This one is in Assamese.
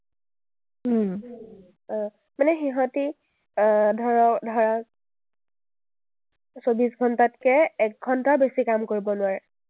অ, মানে সিহঁতি আহ ধৰা, চৌবিশ ঘণ্টাতকে এক ঘণ্টাও বেছি কাম কৰিব নোৱাৰে।